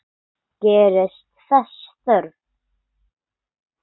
Gerist þess þörf.